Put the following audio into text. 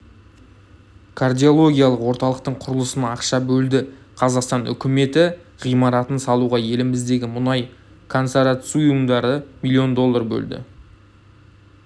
кардиологиялық орталықтың құрылысына ақша бөлді қазақстан үкіметі ғимаратын салуға еліміздегі мұнай консорциумдары миллион доллар бөлді